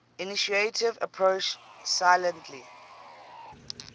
intuitive approach silently